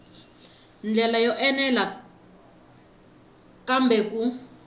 ndlela yo enela kambe ku